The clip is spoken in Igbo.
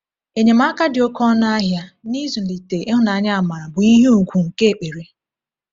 Enyemaka dị oké ọnụ ahịa n’ịzụlite ịhụnanya-amara bụ ihe ùgwù nke ekpere.